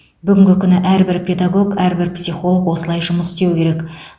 бүгінгі күні әрбір педагог әрбір психолог осылай жұмыс істеуі керек